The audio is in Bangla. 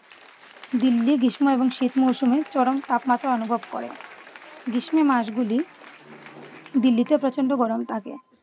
দিল্লি গ্রীষ্ম এবং শীত মৌসুমে চরম তাপমাত্রা অনুভব করে । গ্রীষ্মে মাস গুলি দিল্লিতে প্রচন্ড গরম থাকে।